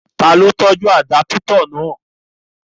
Ta ló fẹ́ àdápítà?